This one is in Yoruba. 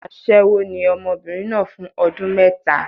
Aṣẹ́wó ni ọmọbìnrin náà fún ọdún mẹ́ta.